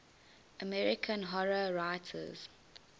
american horror writers